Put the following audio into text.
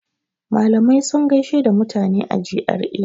Malamai sun gaishe da mutane a GRA.